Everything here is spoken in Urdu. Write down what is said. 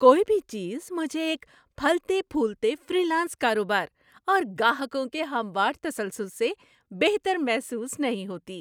کوئی بھی چیز مجھے ایک پھلتے پھولتے فری لانس کاروبار اور گاہکوں کے ہموار تسلسل سے بہتر محسوس نہیں ہوتی۔